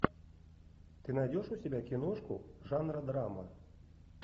ты найдешь у себя киношку жанра драма